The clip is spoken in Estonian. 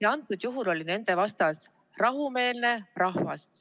Ja antud juhul oli nende vastas rahumeelne rahvas.